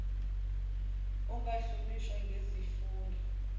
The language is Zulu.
nqf ungahlonishwa ngezifundo